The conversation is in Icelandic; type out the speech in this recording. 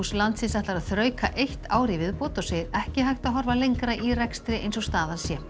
landsins ætlar að þrauka eitt ár í viðbót og segir ekki hægt að horfa lengra í rekstri eins og staðan sé